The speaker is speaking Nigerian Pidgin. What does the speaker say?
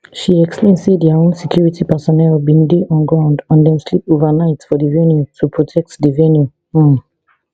she explain say dia own security personnel bin dey on ground and dem sleep ova night for di venue to protect di venue um